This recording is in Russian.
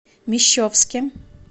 мещовске